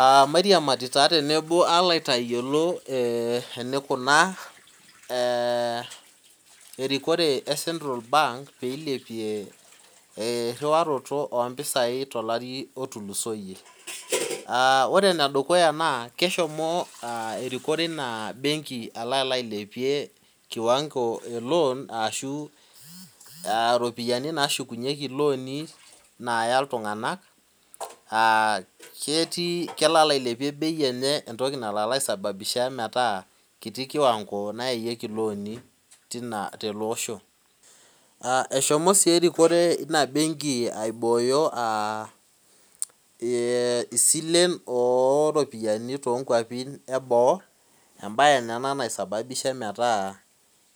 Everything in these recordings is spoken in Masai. Eeh mairiamari tenebo palo aliki enikunaa ee erikore e central bank peilepie enkiriwaroto ompisai tolari otulusoyie ore enedukuya keshomo erikore embenki ailepie kiwango eloan ashu ropiyani nashukunyeki liani naya ltunganak kelo ailepie bei enye entoki nalo aisababisha metaa kiti kiwango nayayieki loani tiloosho eshomo si erikore inabenki aibooyo silen to kwapi eboo embae naa ina naisababisha metaa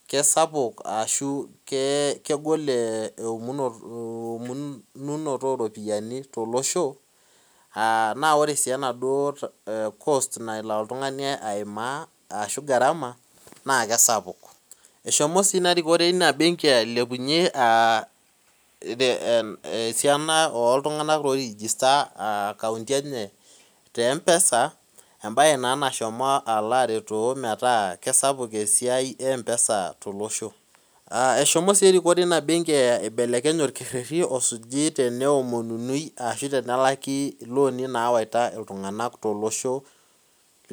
kesapu ashu kegol eomonoto oropiyiani tolosho na kesapuk eshomo su inarikore inabenki ailepunye esiana oltunganak oilepunye nkaunti enye te mpesa embae na nashomo aretoo metaa kesapu esiai empesa oleng eshomo si erikore enabenki ailepunye orkereri omininyeki ashu olaki lini nawaita ltunganak tolosho le Kenya.